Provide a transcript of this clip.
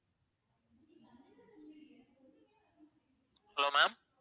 hello ma'am